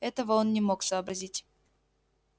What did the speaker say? этого он не мог сообразить